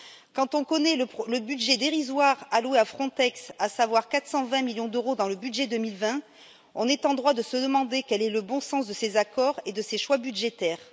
Quand on connaît le budget dérisoire alloué à Frontex, à savoir 420 millions d'euros dans le budget 2020, on est en droit de se demander quel est le bon sens de ces accords et de ces choix budgétaires.